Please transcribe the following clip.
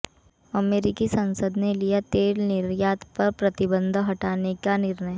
अमेरिकी संसद ने लिया तेल निर्यात पर प्रतिबंध हटाने का निर्णय